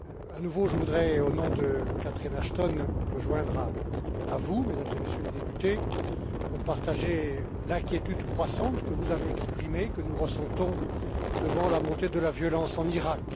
à nouveau, je voudrais, au nom de Catherine Ashton, me joindre à vous, Mesdames et Messieurs les députés, pour partager l'inquiétude croissante que vous avez exprimée et que nous ressentons devant la montée de la violence en Iraq.